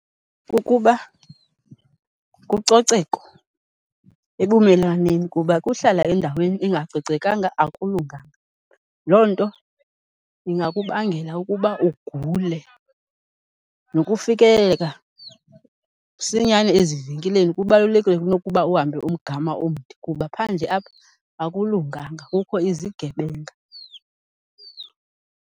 Ukuba kucoceko ebumelwaneni kuba kuhlala endaweni engacocekanga akulunganga, loo nto ingakubangela ukuba ugule. Nokufikeleleka msinyane ezivenkileni kubalulekile kunokuba uhambe umgama omde kuba phandle apha, akulunganga kukho izigebenga.